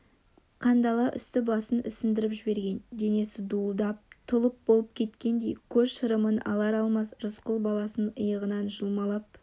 қандала үсті-басын ісіндіріп жіберген денесі дуылдап тұлып болып кеткендей көз шырымын алар-алмас рысқұл баласын иығынан жұлмалап